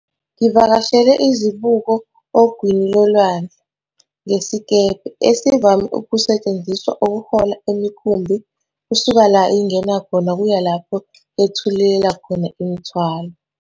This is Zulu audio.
Ngivakashele izibuko ogwini lolwandle ngesikebhe, esivame ukusetshenziswa ukuhola imikhumbi kusuka la ingena khona kuya lapho yethulela khona umthwalo.